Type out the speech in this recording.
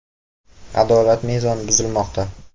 Adolat mezoni buzilmoqda.